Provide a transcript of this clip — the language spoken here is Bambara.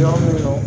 Yɔrɔ min